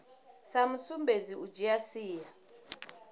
sa sumbedzi u dzhia sia